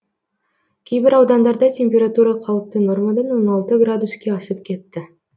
кейбір аудандарда температура қалыпты нормадан он алты градуске асып кетті